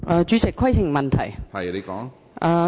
主席，我有規程問題。